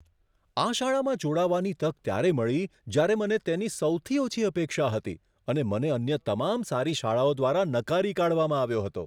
આ શાળામાં જોડાવાની તક ત્યારે મળી જ્યારે મને તેની સૌથી ઓછી અપેક્ષા હતી અને મને અન્ય તમામ સારી શાળાઓ દ્વારા નકારી કાઢવામાં આવ્યો હતો.